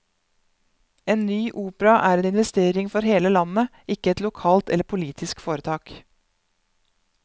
En ny opera er en investering for hele landet, ikke et lokalt eller politisk foretak.